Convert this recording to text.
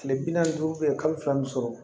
Kile bi naani ni duuru be yen kalo fila ni sɔrɔ